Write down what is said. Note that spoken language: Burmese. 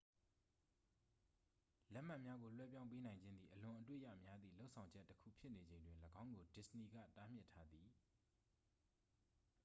လက်မှတ်များကို လွှဲပြောင်းပေးနိုင်ခြင်းသည် အလွန်အတွေ့ရများသည့် လုပ်ဆောင်ချက်တစ်ခုဖြစ်နေချိန်တွင် ၎င်းကို disney က တားမြစ်ထားသည်